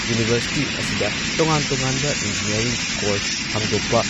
university ꯑꯁꯤꯗ ꯇꯣꯉꯥꯟ ꯇꯣꯉꯥꯟꯕ ꯏꯟꯖꯤꯅꯤꯌꯔꯤꯡ ꯀꯣꯔꯁ ꯍꯥꯡꯗꯣꯛꯄ